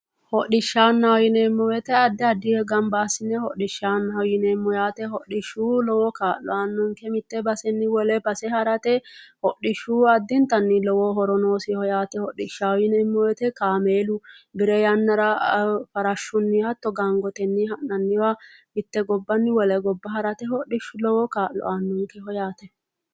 Hodishshanna yinneemmo woye addi addi gamba assine hodhishshanaho ,hodhishshu lowo kaa'lo aanonke mite baseni wole base harate hodhishshu addintanni lowo horo noosiho yaate, hodhishshaho yinneemmo woyte kaamellahu bire yannara farashu hatto gangotenni ha'nanniwa mite gobbani wole gobba harate hodhishshu lowo kaa'lo aanonkeho yaate